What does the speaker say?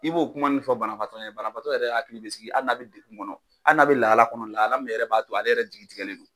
I b'o kuma ninnu fɔ banabaatɔ ɲɛna, banabaatɔ yɛrɛ hakili bɛ sigi hali n'a bɛ degun kɔnɔ, hali n'a bɛ lahala kɔnɔ, lahala min yɛrɛ b'a to ale yɛrɛ jigi tigɛlen don.